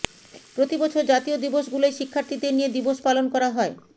প্রতিবছর জাতীয় দিবসগুলোয় শিক্ষার্থীদের নিয়ে দিবস পালন করা হয়